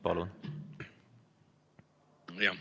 Palun!